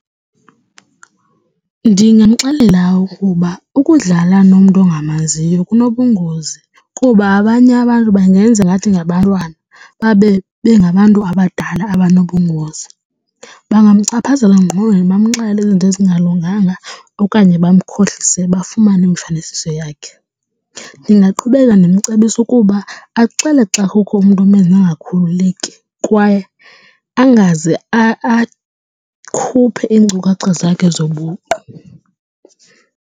Ndingamxelela ukuba ukudlala nomntu ongamaziyo kunobungozi kuba abanye abantu bangenza ngathi ngabantwana babe bengabantu abadala anobungozi. Bangamchaphazela engqondweni bamxelele izinto ezingalunganga okanye bamkhohlise bafumane imifanekiso yakhe. Ndingaqhubeka ndimcebisa ukuba axele xa kukho umntu omenza angakhululeki kwaye angaze aze akhuphe iinkcukacha zakhe zobuqu.